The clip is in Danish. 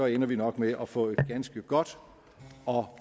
ender vi nok med at få et ganske godt og